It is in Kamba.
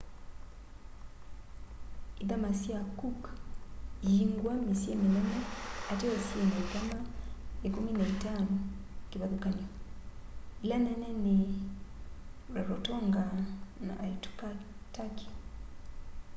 ithama sya cook iyingwa mĩsyĩ mĩnene ateo syĩna ithama 15 kĩvathũkany'o ĩla nene nĩ rarotonga na aitutaki